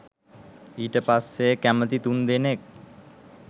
ඊට පස්සේ කැමති තුන්දෙනෙක්